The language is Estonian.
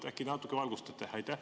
Äkki natuke valgustate?